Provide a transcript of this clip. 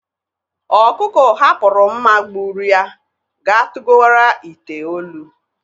Ọkụkụ hapụrụ mma gbụrụ ya ga tugowara ite olu.